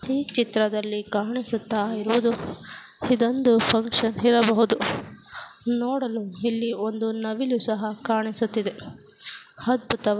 ಈ ಚಿತ್ರದಲ್ಲಿ ಕಾಣಿಸುತ್ತಾ ಇರುವುದು ಇದೊಂದು ಫಂಕ್ಷನ್ ಇರಬಹುದು ನೋಡಲು ಇಲ್ಲಿ ಒಂದು ನವಿಲು ಸಹ ಕಾಣಿಸುತಿದೆ ಅದ್ಬುತವಾ --